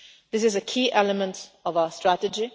This is a key element of our strategy.